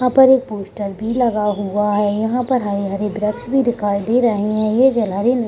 यहाँ पर एक पोस्टर भी लगा हुआ है यहाँ पे हरे-हरे वृक्ष भी दिखाई दे रहे हैं ये जलहरी --